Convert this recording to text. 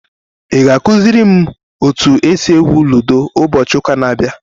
Ị ga-akụziri m otu esi egwu ludo ụbọchị ụka na-abịa?